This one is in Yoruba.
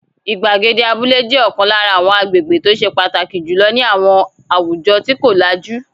Ìgbàgede abúlé jẹ́ ọ̀kan lára àwọn agbègbè tó ṣe pàtàkì jù lọ ní àwọn àwùjọ tí kò lajú.